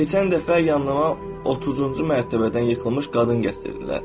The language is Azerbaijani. Keçən dəfə yanıma 30-cu mərtəbədən yıxılmış qadın gətirdilər.